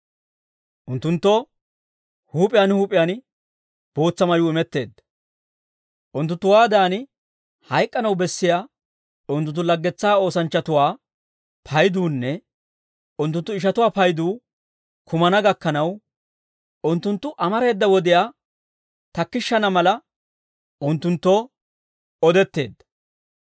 Unttunttoo huup'iyaan huup'iyaan bootsa mayuu imetteedda. Unttunttuwaadan hayk'k'anaw bessiyaa unttunttu laggetsaa oosanchchatuwaa payduunne unttunttu ishatuwaa payduu kumana gakkanaw, unttunttu amareeda wodiyaa takkishshana mala, unttunttoo odetteedda.